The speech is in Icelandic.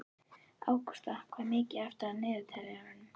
Ágústa, hvað er mikið eftir af niðurteljaranum?